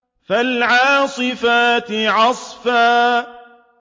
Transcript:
فَالْعَاصِفَاتِ عَصْفًا